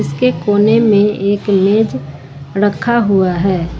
उसके कोने में एक लेज रखा हुआ है।